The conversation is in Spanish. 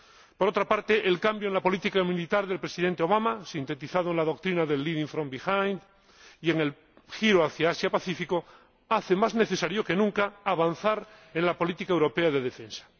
Por otra parte, el cambio en la política militar del Presidente Obama, sintetizado en la doctrina del living from behind y en el giro hacia Asia Pacífico, hace más necesario que nunca avanzar en la política europea de defensa.